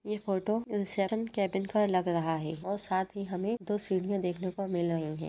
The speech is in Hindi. ये फोटो केबिन का लग रहा है और साथ ही हमें दो सीढ़ियाँ देखने को मिल रही हैं।